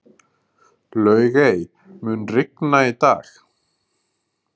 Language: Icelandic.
Laugey, mun rigna í dag?